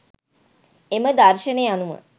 එම දර්ශනය අනුව